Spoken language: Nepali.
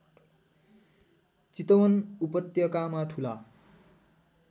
चितवन उपत्यकामा ठूला